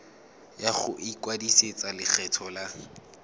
ya go ikwadisetsa lekgetho la